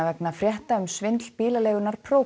vegna frétta um svindl bílaleigunnar